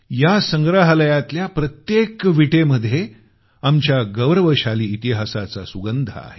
या संग्रहालयातल्या प्रत्येक विटेमध्ये आमच्या गौरवशाली इतिहासाचा सुगंध आहे